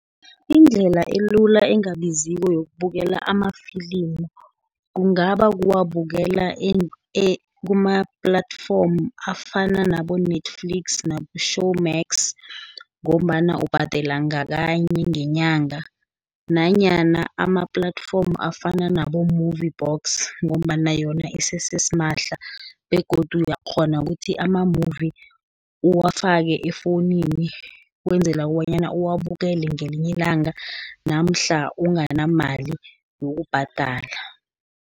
Indlela elula engabiziko yokubukela amafilimu, kungaba kuwabukela kuma-platforms afana nabo-Netflix, nabo-Showmax, ngombana ubhadela ngakanye ngenyanga, nanyana ama-platforms afana nabo-MovieBox, ngombana yona isese simahla, begodu uyakghona ukuthi ama-movie uwafake efowunini ukwenzela kobanyana uwabukele ngelinye ilanga, namhla unganamali wokubhadala.